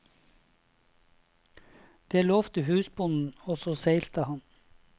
Det lovte husbonden, og så seilte han.